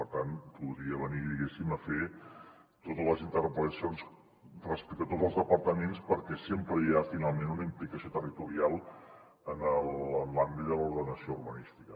per tant podria venir diguéssim a fer totes les interpel·lacions respecte a tots els departaments perquè sempre hi ha finalment una implicació territorial en l’àmbit de l’ordenació urbanística